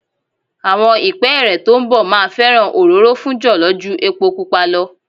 Àwọn ìpẹ́ẹ́rẹ́ tó ń bọ̀ máa fẹ́ràn òróró fún jọ̀lọ́ ju epo pupa lọ.